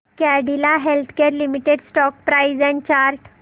Cadila healthcare limited stock price and chart